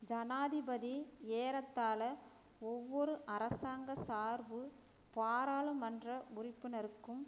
ஜனாதிபதி ஏறத்தாழ ஒவ்வொரு அரசாங்க சார்பு பாராளுமன்ற உறுப்பினருக்கும்